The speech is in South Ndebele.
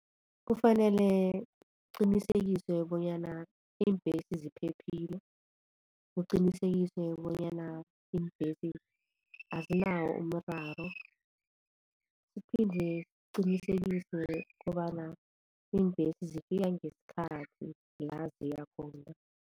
Kufanele kuqinisekiswe bonyana iimbhesi ziphephile, kuqinisekiswe bonyana iimbhesi azinawo umraro kuphinde kuqinisekiswe kobana iimbhesi zifika ngesikhathi la ziya khona.